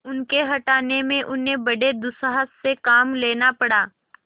उनके हटाने में उन्हें बड़े दुस्साहस से काम लेना पड़ा